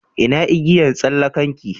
Ina igiyan tsallakan ki?